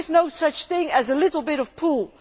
There is no such thing as a little bit' of pull'.